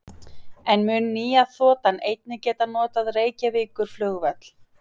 En mun nýja þotan einnig geta notað Reykjavíkurflugvöll?